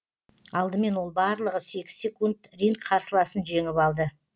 алдымен ол барлығы сегіз секунд ринг қарсыласын жеңіп алды